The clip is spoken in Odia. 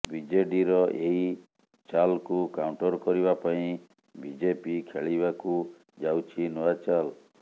ବିଜେଡିର ଏହି ଚାଲ୍କୁ କାଉଣ୍ଟର କରିବା ପାଇଁ ବିଜେପି ଖେଳିବାକୁ ଯାଉଛି ନୂଆ ଚାଲ୍